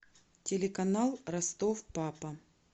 телеканал ростов папа